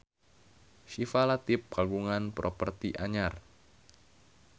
Syifa Latief kagungan properti anyar